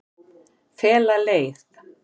Fela leið